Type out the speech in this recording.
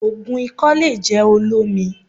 Ògùn ikọ́ le jẹ́ olómi